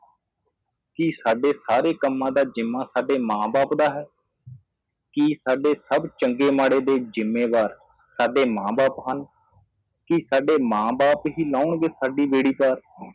ਕਿ ਸਾਡੇ ਸਾਰੇ ਕੰਮਾਂ ਦਾ ਜਿੰਮਾ ਸਾਡੇ ਮਾਂ ਬਾਪ ਦਾ ਹੈ ਕਿ ਸਾਡੇ ਸਬ ਚੰਗੇ ਮਾੜੇ ਦੇ ਜਿੰਮੇਵਾਰ ਸਾਡੇ ਮਾਂ ਬਾਪ ਹਨ ਕਿ ਸਾਡੇ ਮਾਂ ਬਾਪ ਹੀ ਲਾਉਣਗੇ ਸਾਡੀ ਬੇੜੀ ਪਾਰ